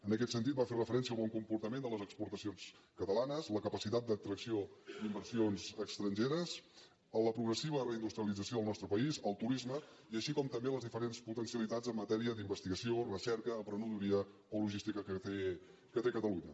en aquest sentit va fer referència al bon comportament de les exportacions catalanes a la capacitat d’atracció d’inversions estrangeres a la progressiva reindustrialització del nostre país al turisme així com també a les diferents potencialitats en matèria d’investigació recerca emprenedoria o logística que té catalunya